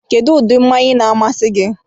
Kedu ụdị mmanya na-amasị gị?